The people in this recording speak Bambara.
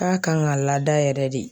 K'a kan ka lada yɛrɛ de.